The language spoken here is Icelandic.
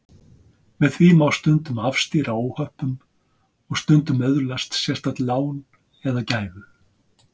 Með því má stundum afstýra óhöppum og stundum öðlast sérstakt lán eða gæfu.